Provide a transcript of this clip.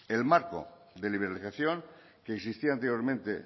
el marco de liberalización que insistía anteriormente